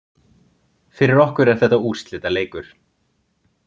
Fyrir okkur er þetta úrslitaleikur